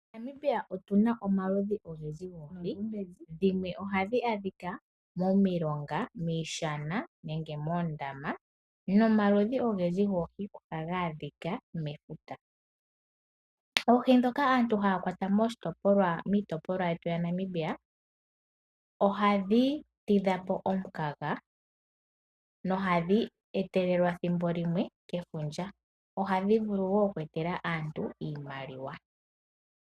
MoNamibia otu na omaludhi ogendji goohi. Dhimwe ohadhi adhika momilonga, miishana nenge moondama nomaludhi ogendji goohi ohaga adhika mefuta. Oohi ndhoka aantu haya kwata miitopolwa yetu yaNamibia ohadhi tidha po omukaga nohadhi etelelwa thimbo limwe kefundja. Ohadhi vulu oku etela aantu iimaliwa.